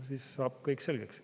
Siis saab kõik selgeks.